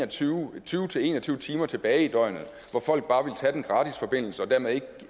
tyve til en og tyve timer tilbage i døgnet hvor folk bare ville tage den gratis forbindelse og dermed